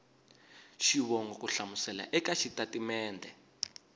xivongo ku hlamusela eka xitatimede